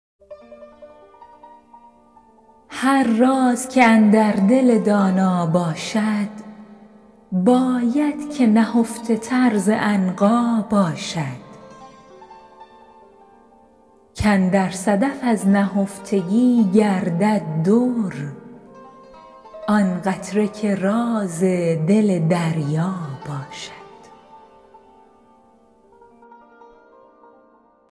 هر راز که اندر دل دانا باشد باید که نهفته تر ز عنقا باشد کاندر صدف از نهفتگی گردد در آن قطره که راز دل دریا باشد